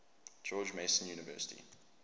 george mason university